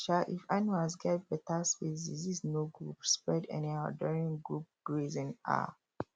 um if animals get better space disease no go spread anyhow during group grazing um